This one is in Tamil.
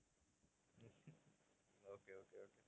okay, okay, okay